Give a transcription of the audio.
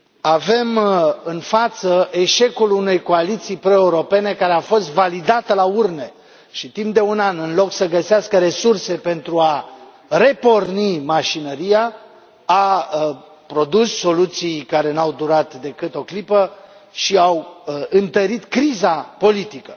Avem în față eșecul unei coaliții pro europene care a fost validată la urne și timp de un an, în loc să găsească resurse pentru a reporni mașinăria, a produs soluții care nu au durat decât o clipă și au întărit criza politică.